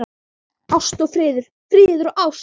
Ást og friður, friður og ást.